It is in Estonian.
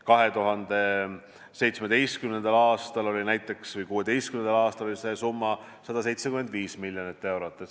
2016. aastal oli see summa 175 miljonit eurot.